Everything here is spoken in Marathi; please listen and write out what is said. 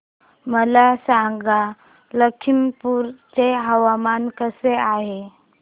मला सांगा लखीमपुर चे हवामान कसे आहे